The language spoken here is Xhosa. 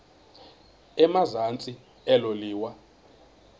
emazantsi elo liwa